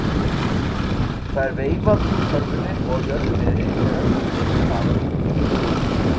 Það er veifað úr körfunni og á jörðu niðri er öllum öngum baðað út.